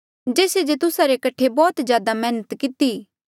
मरियम बैहणा जो भी मेरा नमस्कार जेस्से जे तुस्सा रे कठे बौह्त ज्यादा मैहनत किती